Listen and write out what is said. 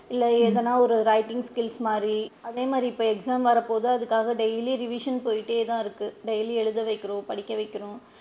இல்ல எதுனா ஒரு writing skills மாதிரி அதே மாதிரி இப்ப exam வர போகுது அதுக்காக daily revision போய்கிட்டே தான் இருக்கு daily எழுத வைக்கிறோம் படிக்க வைக்கிறோம்.